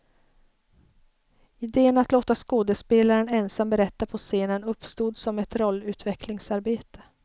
Iden att låta skådespelaren ensam berätta på scenen uppstod som ett rollutvecklingsarbete.